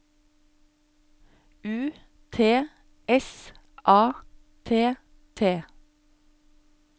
U T S A T T